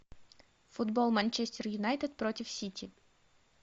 футбол манчестер юнайтед против сити